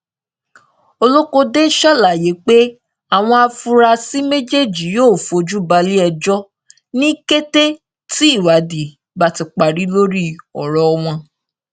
olókóde ṣàlàyé pé àwọn afurasí méjèèjì yóò fojú balẹẹjọ ní kété tí ìwádìí bá ti parí lórí ọrọ wọn